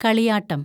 കളിയാട്ടം